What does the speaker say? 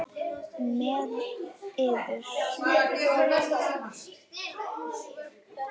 Með yður!